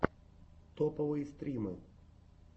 топовые стримы